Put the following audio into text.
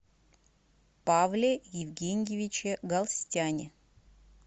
павле евгеньевиче галстяне